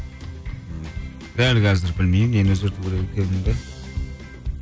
дәл қазір білмеймін нені өзгертуді керек екенімді